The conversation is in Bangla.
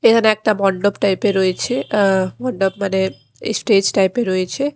এখানে একটা মণ্ডপ টাইপের রয়েছে আ মণ্ডপ মানে স্টেজ টাইপের রয়েছে ।